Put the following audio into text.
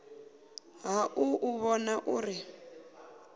ha u u vhona uri